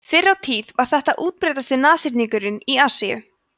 fyrr á tíð var þetta útbreiddasti nashyrningurinn í asíu